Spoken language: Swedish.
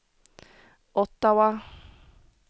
Ottawa